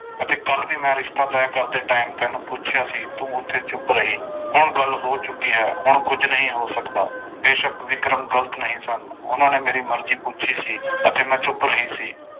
ਅਤੇ ਕੱਲ੍ਹ ਵੀ ਮੈਂ ਰਿਸ਼ਤਾ ਤੈਅ ਕਰਦੇ time ਤੈਨੂੰ ਪੁੱਛਿਆ ਸੀ ਤੂੰ ਉੱਥੇ ਚੁੱਪ ਰਹੀ ਹੁਣ ਗੱਲ ਹੋ ਚੁੱਕੀ ਹੈ ਹੁਣ ਕੁੱਝ ਨਹੀਂ ਹੋ ਸਕਦਾ, ਬੇਸ਼ਕ ਵਿਕਰਮ ਗ਼ਲਤ ਨਹੀਂ ਸਨ ਉਹਨਾਂ ਨੇ ਮੇਰੀ ਮਰਜ਼ੀ ਪੁੱਛੀ ਸੀ ਅਤੇ ਮੈਂ ਚੁੱਪ ਰਹੀ ਸੀ।